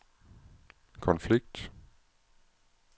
konflikt